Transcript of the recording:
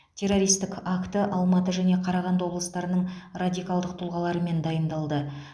террористік акті алматы және қарағанды облыстарының радикалдық тұлғаларымен дайындалды